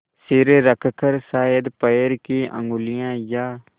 सिर रखकर शायद पैर की उँगलियाँ या